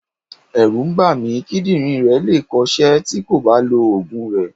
Ẹ̀rù ń bà mí, kídírìn rẹ̀ le è kọ ṣẹ́ tí kò bá lọ Ògùn rẹ̀.